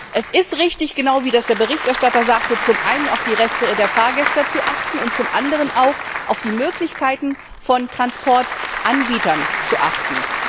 Es ist richtig, genau wie das der Berichterstatter sagte, zum einen auf die Rechte der Fahrgäste und zum anderen auch auf die Möglichkeiten von Transportanbietern zu achten.